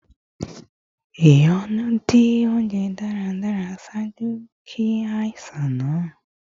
Ìyọnu di ounjẹ daradara ṣaaju ki aisan naa